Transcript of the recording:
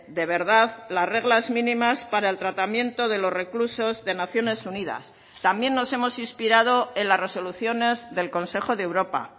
de verdad las reglas mínimas para el tratamiento de los reclusos de naciones unidas también nos hemos inspirado en las resoluciones del consejo de europa